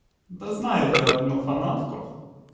да знаю я одну фанатку